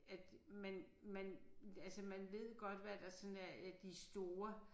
At man man altså man ved godt hvad der sådan er de store